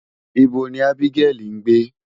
Ibo ni Ábígẹ́lì ń gbé?